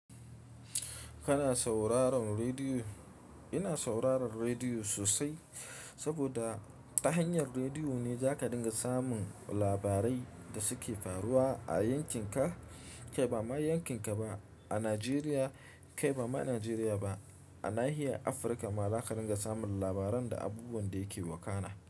Kana sauraron rediyo? Ina sauraron rediyo sosai, saboda ta hanyar rediyo ne za ka dinga samun labarai da suke faruwa a yankinka. Kai ba ma yankinka ba, a Najeriya. Kai ba ma Nigeria ba, a nahiyan Africa ma za ka rin ga samun labaran da abubuwan da yake wakana.